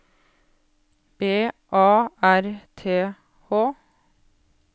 B A R T H